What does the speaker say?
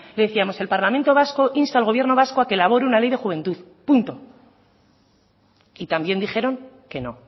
decíamos el parlamento vasco insta al gobierno vasco a que elabore una ley de juventud punto y también dijeron que no